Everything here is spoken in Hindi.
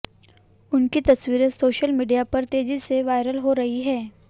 उनकी तस्वीरें सोशल मीडिया पर तेजी से वायरल हो रही हैं